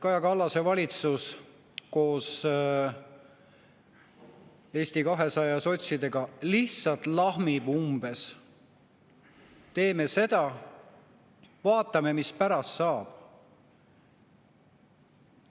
Kaja Kallase valitsus koos Eesti 200 ja sotsidega lihtsalt lahmib umbes: "Teeme seda, vaatame, mis pärast saab.